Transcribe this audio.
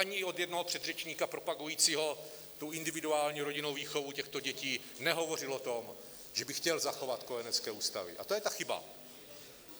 Ani od jednoho předřečníka propagujícího tu individuální rodinnou výchovu těchto dětí - nehovořil o tom, že by chtěl zachovat kojenecké ústavy, a to je ta chyba.